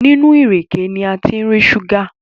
nínú ìrèké ní a fí ń rí ṣúgà